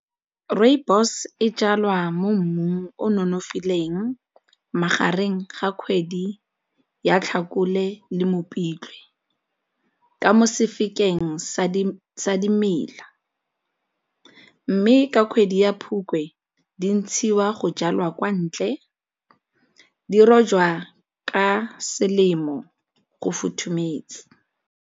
Rooibos e jalwa mo mmung o nonofileng magareng ga kgwedi ya Tlhakole le Mopitlwe ka mo sa dimela mme ka kgwedi ya Phukwi di ntshiwa go jalwa kwa ntle, di rojwa ka selemo go futhumetse.